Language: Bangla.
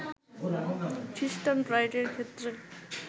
খ্রিস্টান ব্রাইডের ক্ষেত্রে